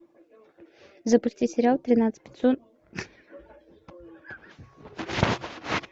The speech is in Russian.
запусти сериал тринадцать